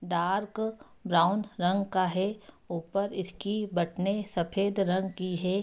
Dark brown रंग का है ऊपर इसकी बटने सफ़ेद रंग की है।